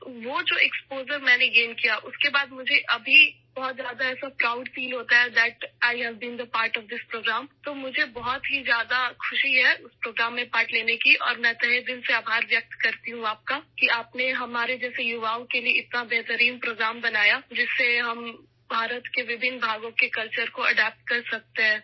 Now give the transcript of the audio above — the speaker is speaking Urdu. وہ جو ایکسپوژر ، میں نے گین کیا ، اس کے بعد مجھے ا بھی بہت زیادہ فخر محسوس ہوتا ہے کہ میں اس پروگرام کا حصہ رہی ہوں، اس لیے مجھے اس پروگرام میں شرکت کرکے بہت خوشی ہوئی اور میں دل کی گہرائیوں سے آپ کا شکریہ ادا کرتی ہوں کہ آپ نے ہمارے جیسے نوجوانوں کے لیے اتنا شاندار پروگرام بنایا ، جس سے ہم بھارت کے مختلف حصوں کی ثقافت کو اپنا سکتے ہیں